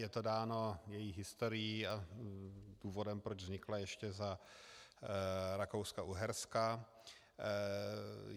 Je to dáno její historií a důvodem, proč vznikla ještě za Rakouska-Uherska.